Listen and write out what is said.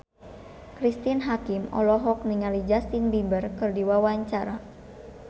Cristine Hakim olohok ningali Justin Beiber keur diwawancara